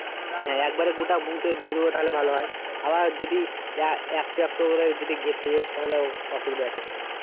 হ্যাঁ গোটা বহু তাকে ঘিরে দেব একবার তাহলে ভালো হয় আবার যদি এ~একটা একটা করে ঘিরতে যাই তাহলে অসুবিধে আছে,